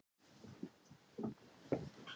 Svona ertu sinnulaus, segir hún þá.